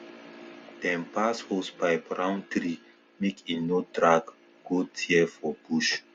dem pass hosepipe round tree make e no drag go tear for for bush